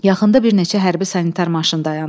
Yaxında bir neçə hərbi sanitar maşın dayandı.